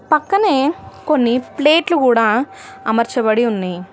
పక్కనే కొన్ని ప్లేట్లు గూడా అమర్చబడి ఉన్నయి.